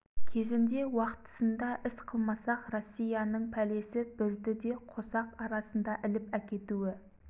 кезінде уақтысында іс қылмасақ россияның пәлесі бізді де қосақ арасында іліп әкетуі